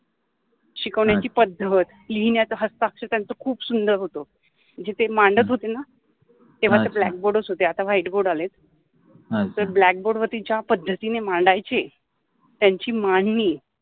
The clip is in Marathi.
शिकवन्याचि पद्धत, लिहिन्याच हस्ताक्षर त्यांच खुप सुंदर होत जि ते माण्ड्त होते तेव्हा त ब्लॅक बोर्ड च होते आता व्हाईट बोर्ड आलेत. अच्छा, त्या ब्लॅक बोर्ड वरति ते पद्धतिने मांडायचे त्यांचि मांडणि